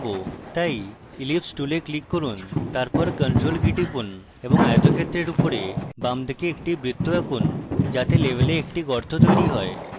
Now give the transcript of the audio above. তাই ellipse tool click করুন তারপর ctrl key টিপুন এবং আয়তক্ষেত্রের উপরে বামদিকে একটি বৃত্ত আঁকুন যাতে label একটি গর্ত তৈরি হয়